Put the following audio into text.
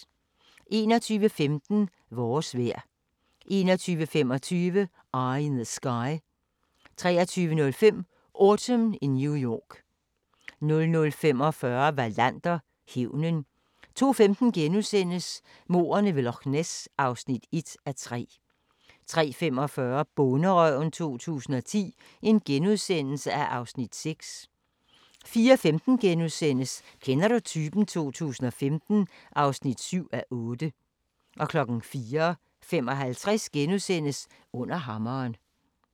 21:15: Vores vejr 21:25: Eye in the Sky 23:05: Autumn in New York 00:45: Wallander: Hævnen 02:15: Mordene ved Loch Ness (1:3)* 03:45: Bonderøven 2010 (Afs. 6)* 04:15: Kender du typen? 2015 (7:8)* 04:55: Under hammeren *